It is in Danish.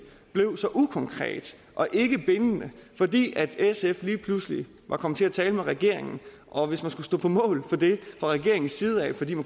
blev så ukonkret og ikke bindende fordi sf lige pludselig var kommet til at tale med regeringen og hvis man skulle stå på mål for det fra regeringens side fordi